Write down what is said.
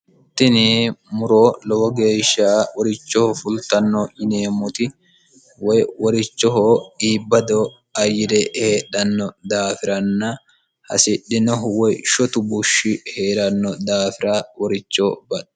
tini muro lowo geeshsha horichoho fultanno yineemmoti woy worichoho iibbado ayire heedhanno daafiranna hasidhinohu woy shotu bushshi hee'ranno daafira woricho baxxanno